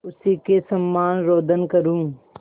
उसी के समान रोदन करूँ